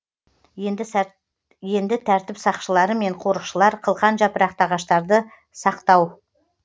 енді тәртіп сақшылары мен қорықшылар қылқан жапырақты ағаштарды сақтап